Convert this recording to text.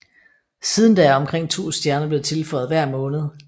Siden da er omkring to stjerner blevet tilføjet hver måned